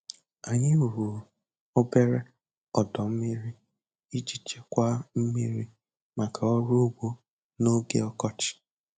Anyị rụrụ obere ọdọ mmiri iji chekwaa mmiri maka ọrụ ugbo n'oge ọkọchị.